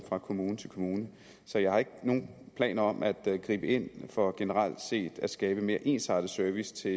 fra kommune til kommune så jeg har ikke nogen planer om at gribe ind for generelt set at skabe mere ensartet service til